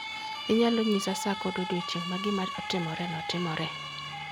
Inyalo nyisa sa kod odiechieng' ma gima otimoreno timoree.